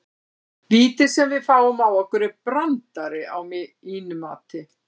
Vítið sem að við fáum á okkur er brandari að mínu mati.